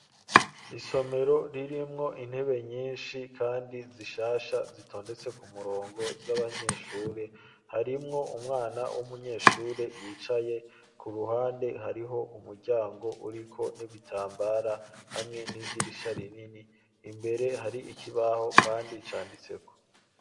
Isomero ririmwo intebe nyinshi, kandi zishasha zitondetse ku murongo z'abanyeshure harimwo umwana w'umunyeshure yicaye ku ruhande hariho umuryango uriko nibitambara hamwe n'idirisha rinini imbere hari ikibaho, kandi canditseko.